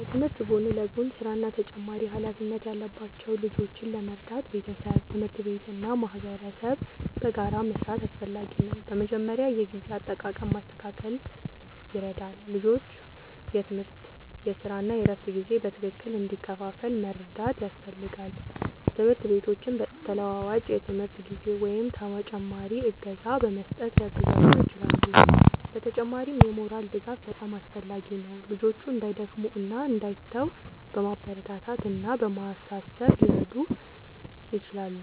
ከትምህርት ጎን ለጎን ሥራ እና ተጨማሪ ኃላፊነት ያለባቸው ልጆችን ለመርዳት ቤተሰብ፣ ትምህርት ቤት እና ማህበረሰብ በጋራ መስራት አስፈላጊ ነው። በመጀመሪያ የጊዜ አጠቃቀም ማስተካከል ይረዳል፤ ልጆቹ የትምህርት፣ የሥራ እና የእረፍት ጊዜ በትክክል እንዲከፋፈል መርዳት ያስፈልጋል። ትምህርት ቤቶችም ተለዋዋጭ የትምህርት ጊዜ ወይም ተጨማሪ እገዛ በመስጠት ሊያግዟቸው ይችላሉ። በተጨማሪም የሞራል ድጋፍ በጣም አስፈላጊ ነው፤ ልጆቹ እንዳይደክሙ እና እንዳይተዉ በማበረታታት እና በማሳሰብ ሊረዱ ይችላሉ።